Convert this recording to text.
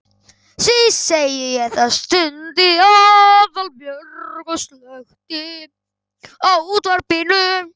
Því segi ég það. stundi Aðalbjörg og slökkti á útvarpinu.